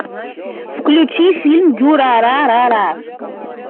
включи фильм дюрарара